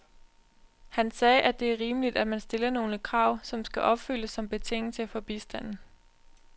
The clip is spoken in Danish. Han sagde, at det er rimeligt, at man stiller nogle krav, som skal opfyldes som betingelse for bistanden.